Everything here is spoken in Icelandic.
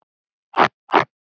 Baddi líka.